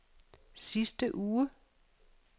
sidste uge